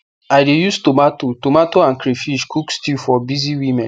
i de use tomato tomato and crayfish cook stew for busy women